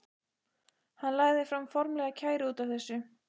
Hann lagði fram formlega kæru út af þessu.